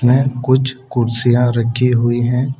में कुछ कुर्सियां रखी हुई है।